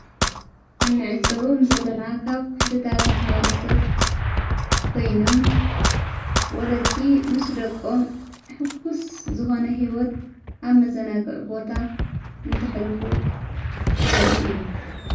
ተም ንዕዘቦም ዘለና ካብ ክፍልታት መሓዋረ ሰብ ኮይኖም፤ ወለዲ ምስ ደቆም ኣሕጉስ ዝኾነ ሕይወት ኣብ መዘነግዕ ቦታ እንተሕሉፉ ዘርኢ እዩ።